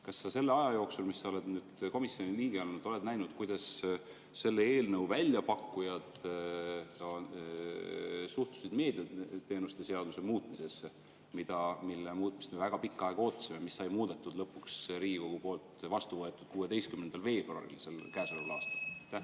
Kas sa selle aja jooksul, mis sa oled nüüd komisjoni liige olnud, oled näinud, kuidas selle eelnõu väljapakkujad on suhtunud meediateenuste seaduse muutmisesse, mille muutmist me väga pikka aega ootasime ja mis sai muudetud, lõpuks Riigikogu poolt vastu võetud 16. veebruaril sel aastal?